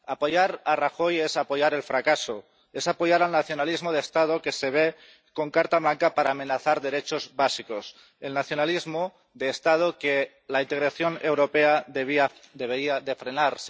Apoyar a Rajoy es apoyar el fracaso, es apoyar al nacionalismo de Estado que se ve con carta blanca para amenazar derechos básicos, el nacionalismo de Estado que la integración europea debería frenar.